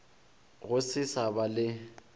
go se sa ba le